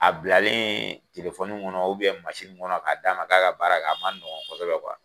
A bilaleen ŋɔnɔ ŋɔnɔ k'a d'a ma k'a ka baara kɛ, a ma nɔgɔn kɔsɛbɛ .